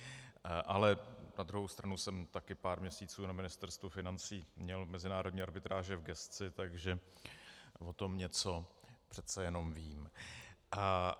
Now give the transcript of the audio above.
Ale na druhou stranu jsem taky pár měsíců na Ministerstvu financí měl mezinárodní arbitráže v gesci, takže o tom něco přece jenom vím.